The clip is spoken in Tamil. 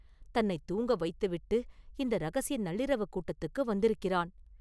தன்னைத் தூங்க வைத்துவிட்டு, இந்த ரகசிய நள்ளிரவுக் கூட்டத்துக்கு வந்திருக்கிறான்.